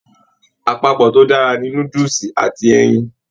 Àpapọ to dára ni núdúsí àti ẹyìn.